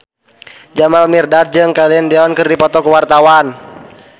Jamal Mirdad jeung Celine Dion keur dipoto ku wartawan